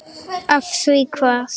Af því hvað?